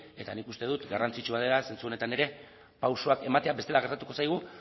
eta nik uste dut garrantzitsua dela zentzu honetan ere pausuak ematea bestela gertatuko zaigu